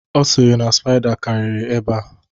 Ọ sịrị na spaida karịrị ebea